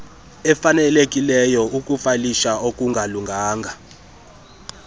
efanelekileyo ukufayilisha okungalunganga